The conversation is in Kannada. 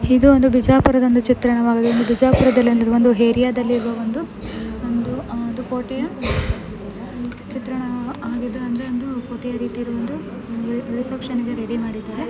ಇದು ಒಂದು ಬೀಜಪುರಾದ ಒಂದು ಚಿತ್ರಣವಾಗಿದೆ. ಬೀಜಪುರಾದಲ್ಲಿ ಒಂದು ಏರಿಯಾ ದಲ್ಲಿ ಒಂದು ಒಂದು ಆಹ್ ಒಂದು ಕೋಟೆಯಾ ಚಿತ್ರಣವಾಗಿದೆ ಅಂದ್ರೆ ಒಂದು ಕೋಟೆಯಾ ರೀತಿ ಇರುವ ಒಂದು ರಿಸೆಪ್ಷನ್ ಗೆ ರೆಡಿ ಮಾಡಿದರೆ .